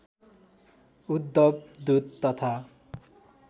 उद्धव दूत तथा